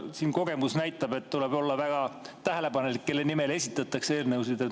Siin kogemus näitab, et tuleb olla väga tähelepanelik, kelle nimel esitatakse eelnõusid.